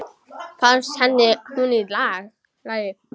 Fannst henni hún í lagi?